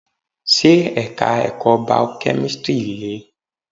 Ṣé Ẹ̀ka ẹ̀kọ́ Bio-kemistri le?